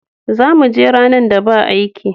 Za mu je ranar da ba aiki.